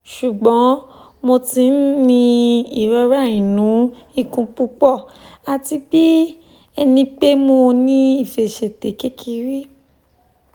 ṣugbọn mo ti n ni irora inu ikun pupọ ati bi ẹnipe mo ni ifẹsẹtẹ kekere